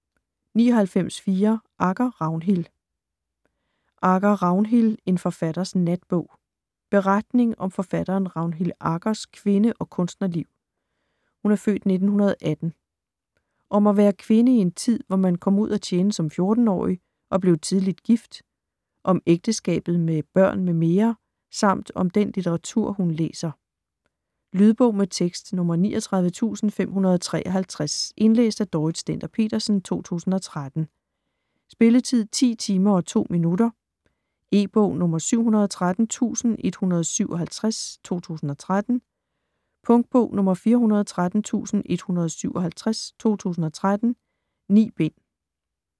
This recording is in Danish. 99.4 Agger, Ragnhild Agger, Ragnhild: En forfatters natbog Beretning om forfatteren Ragnhild Aggers (f. 1918) kvinde- og kunstnerliv: Om at være kvinde i en tid, hvor man kom ud at tjene som 14-årig og blev tidligt gift, om ægteskabet med børn m.m., samt om den litteratur, hun læser. Lydbog med tekst 39553 Indlæst af Dorrit Stender-Petersen, 2013. Spilletid: 10 timer, 2 minutter. E-bog 713157 2013. Punktbog 413157 2013. 9 bind.